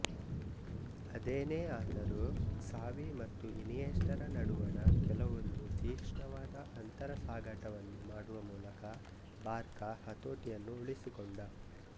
ಅದೇನೇ ಆದರೂ ಕ್ಸಾವಿ ಮತ್ತು ಇನಿಯೆಸ್ಟಾರ ನಡುವಣ ಕೆಲವೊಂದು ತೀಕ್ಷ್ಣವಾದ ಅಂತರಸಾಗಾಟವನ್ನು ಮಾಡುವ ಮೂಲಕ ಬಾರ್ಕಾ ಹತೋಟಿಯನ್ನು ಉಳಿಸಿಕೊಂಡ